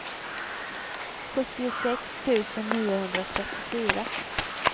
sjuttiosex tusen niohundratrettiofyra